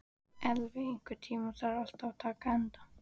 Elvi, einhvern tímann þarf allt að taka enda.